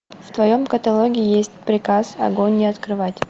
в твоем каталоге есть приказ огонь не открывать